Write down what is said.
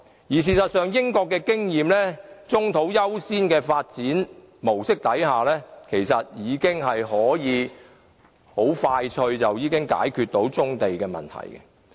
事實上，根據英國的經驗，以棕地優先的發展模式已經可以快速解決棕地問題。